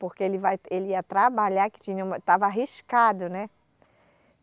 Porque ele vai, ele ia trabalhar, que tinha um, estava arriscado, né?